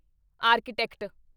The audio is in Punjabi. ਆਰਕੀਟੈਕਟ